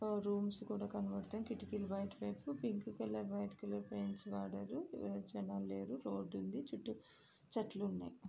ఆ రూమ్స్ కూడా కనపడతాయి. కిటికీలు బయటవైపు pink colour white colour paints వాడారు. ఎవరు జనాలు లేరు. రోడ్డు ఉంది. చుట్టూ చెట్లు ఉన్నాయి.